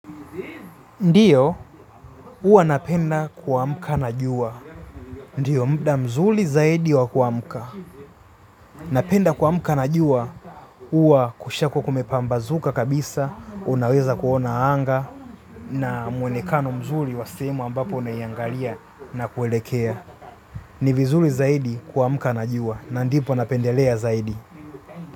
Ndiyo huwa napenda kuamka na jua. Ndiyo muda mzuri zaidi wa kuamka. Napenda kuamka na jua huwa kushakuwa kumepambazuka kabisa, unaweza kuona anga na mwonekano mzuri wa sehemu ambapo unaiangalia na kuelekea. Ni vizuri zaidi kuamka na jua na ndipo napendelea zaidi.